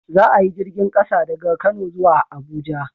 Za a yi jirgin ƙasa daga kano zuwa Abuja